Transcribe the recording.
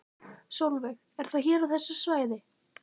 Sólveig: Er það hér á þessu svæði?